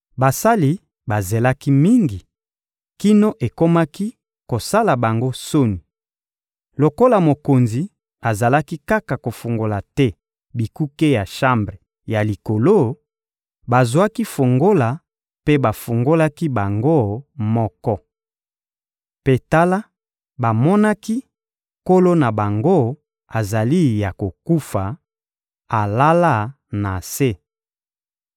Basali bazelaki mingi, kino ekomaki kosala bango soni. Lokola mokonzi azalaki kaka kofungola te bikuke ya shambre ya likolo, bazwaki fungola mpe bafungolaki bango moko. Mpe tala, bamonaki nkolo na bango azali ya kokufa, alala na se.